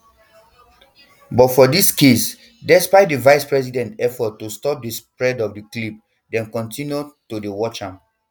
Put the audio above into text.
but for dis case despite di vicepresident efforts to stop di spread of di clips dem kontinu to dey watch am